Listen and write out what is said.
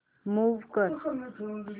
move कर